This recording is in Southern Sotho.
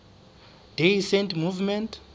day saint movement